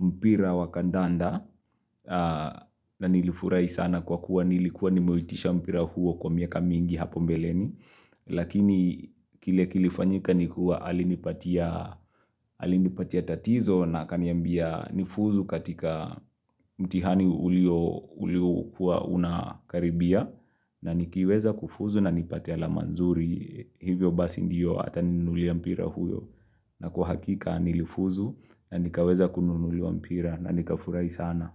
mpira wakandanda na nilifurai sana kwa kuwa nilikuwa nimuitisha mpira huo kwa miaka mingi hapo mbeleni. Lakini kile kilifanyika ni kuwa alinipatia tatizo na kaniambia nifuzu katika mtihani ulio kuwa unakaribia na nikiweza kufuzu na nipate ala manzuri hivyo basi ndiyo ataninulia mpira huyo na kuhakika nilifuzu na nikaweza kununulia mpira na nika furai sana.